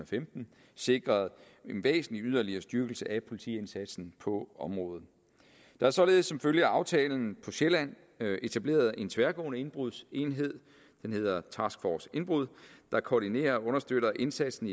femten sikret en væsentlig yderligere styrkelse af politiindsatsen på området der er således som følge af aftalen på sjælland etableret en tværgående indbrudsenhed den hedder task force indbrud der koordinerer og understøtter indsatsen